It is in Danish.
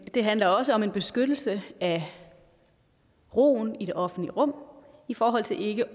det handler også om en beskyttelse af roen i det offentlige rum i forhold til ikke